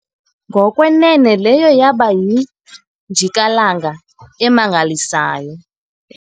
ngokwenene leyo yaba yinjikalanga emangalisayo